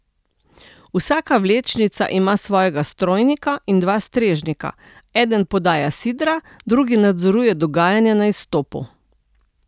Vsaka vlečnica ima svojega strojnika in dva strežnika, eden podaja sidra, drugi nadzoruje dogajanje na izstopu.